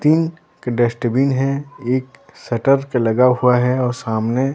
तीन डस्टबिन हैं एक शटर पे लगा हुआ हैं और सामने --